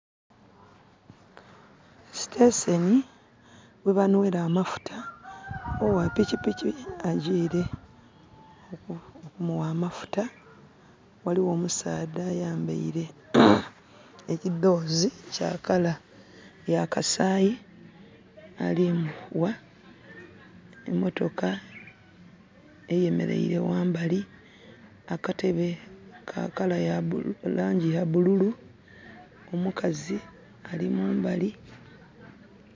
Sitenseni ghe banhwera amafuta. Ogha pikipiki agyiire okumugha amafuta. Ghaligho omusaadha ayambaile ekidhoozi kya colour ya kasaayi alimugha. Emotoka eyemeleire ghambali. Akatebe ka colour ya bululu, laangi ya bululu. Omukazi ali mumbali